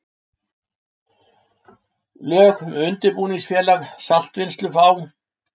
Lög um undirbúningsfélag saltvinnslu á